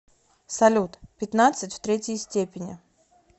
салют пятнадцать в третьей степени